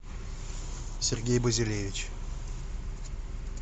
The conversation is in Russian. сергей базилевич